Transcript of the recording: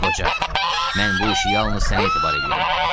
Tut qoca, mən bu işi yalnız sənə etibar eləyirəm.